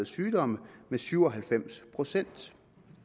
sygdomme med syv og halvfems procent